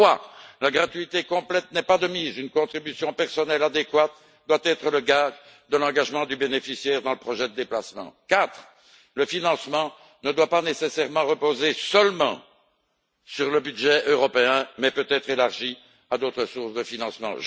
Troisièmement, la gratuité complète n'est pas de mise une contribution personnelle adéquate doit être le gage de l'engagement du bénéficiaire dans le projet de déplacement. Quatrièmement, le financement ne doit pas nécessairement reposer seulement sur le budget européen mais peut être élargi à d'autres sources de financement.